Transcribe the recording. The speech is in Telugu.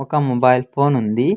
ఒక మొబైల్ ఫోన్ ఉంది.